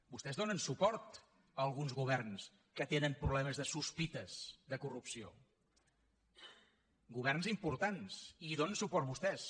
vostès donen suport a alguns governs que tenen problemes de sospites de corrupció governs importants i hi donen suport vostès